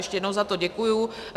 Ještě jednou za to děkuji.